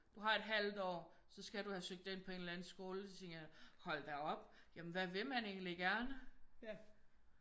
Du har et halvt år så skal du have søgt ind på en eller anden skole så tænker jeg hold da op jamen hvad vil man egentlig gerne?